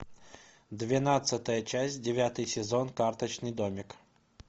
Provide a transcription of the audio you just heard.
двенадцатая часть девятый сезон карточный домик